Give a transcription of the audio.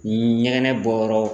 N ɲɛgɛnɛ bɔ yɔrɔ